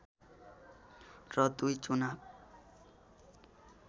र दुई चुनाव